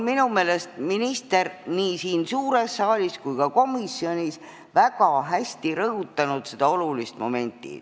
Minu meelest on minister nii siin suures saalis kui ka komisjonis väga hästi rõhutanud olulist momenti.